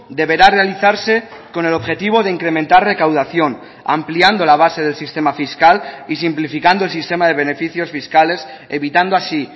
deberá realizarse con el objetivo de incrementar recaudación ampliando la base del sistema fiscal y simplificando el sistema de beneficios fiscales evitando así